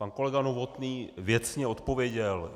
Pan kolega Novotný věcně odpověděl.